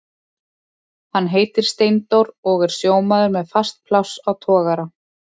Hann heitir Steindór og er sjómaður með fast pláss á togara.